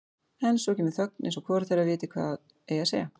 En svo kemur þögn eins og hvorugt þeirra viti hvað eigi að segja.